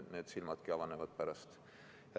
Needki silmad avanevad alles pärast.